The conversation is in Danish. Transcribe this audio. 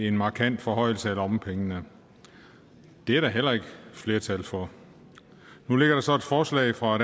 en markant forhøjelse af lommepengene det er der heller ikke flertal for nu ligger der så et forslag fra